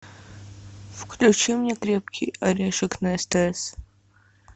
включи мне крепкий орешек на стс